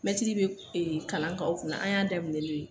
Mɛtiri bɛ kalan kɛ aw kunna, an y'a daminɛ n'o de ye.